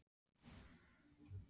Mig dreymdi ég var í hallargarðinum.